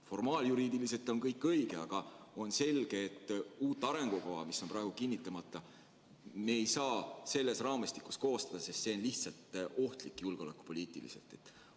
Formaaljuriidiliselt on kõik õige, aga on selge, et uut arengukava, mis on veel kinnitamata, me ei saa selles raamistikus koostada, sest see on julgeolekupoliitiliselt lihtsalt ohtlik.